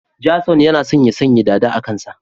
Jason yana so ya sanya dada a kansa